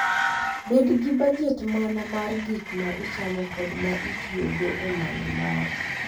Bed gi bajet mana mar gik ma ichamo kod ma itiyogo e manyo mor.